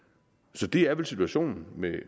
så det er vel situationen med